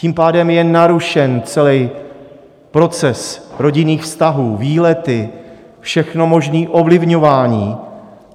Tím pádem je narušen celý proces rodinných vztahů, výlety, všechno možné ovlivňování.